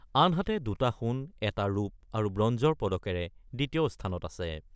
আনহাতে দুটা সোণ, এটা ৰূপৰ আৰু বঞ্জৰ পদকেৰে দ্বিতীয় স্থানত আছে।